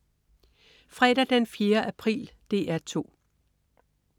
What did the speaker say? Fredag den 4. april - DR 2: